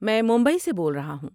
میں ممبئی سے بول رہا ہوں۔